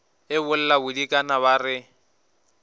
e bolla bodikana ba re